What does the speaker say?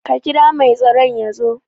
Ka kira mai tsaron yazo